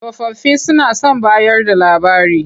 Tsofaffi suna son bayarda labari.